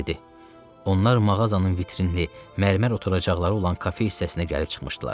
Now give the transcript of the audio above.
Onlar mağazanın vitrinli, mərmər oturacaqları olan kafe hissəsinə gəlib çıxmışdılar.